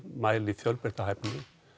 mæli fjölbreytta hæfni